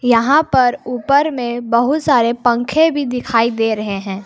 यहां पर ऊपर में बहुत सारे पंखे भी दिखाई दे रहे हैं।